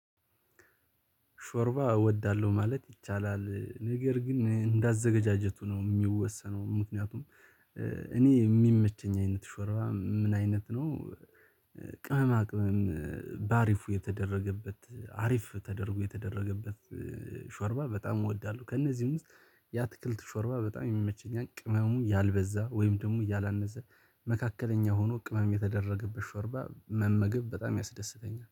ሾርባ እወዳለሁ ማለት ይቻላል ነገር ግን እንዳዘገጃጀቱ ነው የሚወሰነው ምክንያቱም። እኔ የሚመቸኝ አይነት ሾርባ ምን አይነት ነው? ቅመማ ቅመም በአሪፉ የተደረገበት አሪፍ ተደርጎ የተደረገበት ሾርባ በጣም እወዳለሁ። ከእነዚህ ውስጥ ያትክልት ሾርባ በጣም ይመቸኝ ቅመሙ ያልበዛ ወይም ደግሞ ያላነሰ መካከለኛ ሆኖ ቅመም የተደረገበት ሾርባ መመገብ በጣም ያስደስተኛል